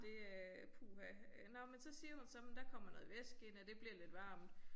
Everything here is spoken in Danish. Det øh puha øh nåh men så siger hun så men der kommer noget væske ind og det bliver lidt varmt